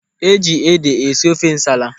E ji ede esi ofe nsala.